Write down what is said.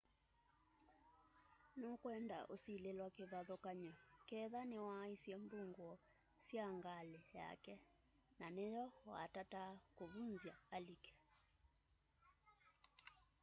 nukwenda usilĩlwa kĩvathũkany'o ketha niwaaisye mbungũo sya ngalĩ yake na nĩyo watataa kũvũnzya alike